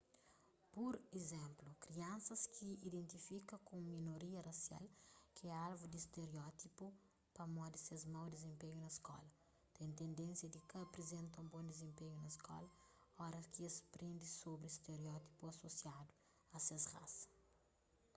pur izénplu kriansas ki ta identifika ku un minoria rasial ki é alvu di stereótipu pamodi ses mau dizenpenhu na skola ten tendénsia di ka aprizenta un bon dizenpenhu na skola óras ki es prende sobri stereótipu asosiadu a ses rasa